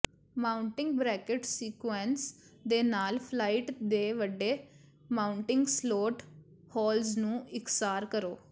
mounting bracket sconce ਦੇ ਨਾਲ flight ਤੇ ਵੱਡੇ ਮਾਊਂਟਿੰਗ ਸਲੋਟ ਹੋਲਜ਼ ਨੂੰ ਇਕਸਾਰ ਕਰੋ